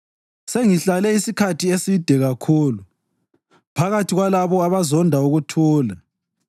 Sengihlale isikhathi eside kakhulu phakathi kwalabo abazonda ukuthula.